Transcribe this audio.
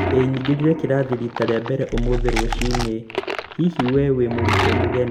ĩĩ, nyingĩrire kĩrathi rita rĩa mbere ũmũthĩ rũcinĩ. hihi we wĩ mũrutwo mũgeni?